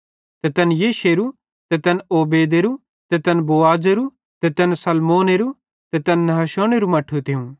ते तैन यिशैएरो ते तैन ओबेदेरो ते तैन बोआजेरो ते तैन सलमोनेरो ते तैन नहशोनेरू मट्ठू थियूं